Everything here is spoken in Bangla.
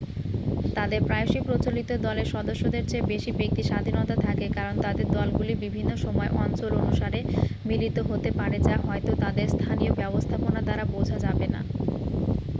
তাদের প্রায়শই প্রচলিত দলের সদস্যদের চেয়ে বেশি ব্যক্তিস্বাধীনতা থাকে কারণ তাদের দলগুলি বিভিন্ন সময় অঞ্চল অনুসারে মিলিত হতে পারে যা হয়তো তাদের স্থানীয় ব্যবস্থাপনা দ্বারা বোঝা যাবেনা